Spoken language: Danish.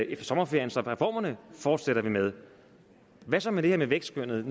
efter sommerferien så reformerne fortsætter vi med hvad så med det her med vækstskønnet